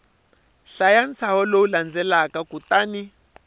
hlaya ntshaho lowu landzelaka kutani